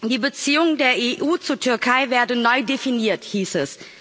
Die Beziehungen der EU zur Türkei werden neu definiert, hieß es.